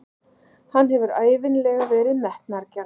Hann hefur ævinlega verið metnaðargjarn.